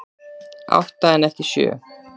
Átta en ekki sjö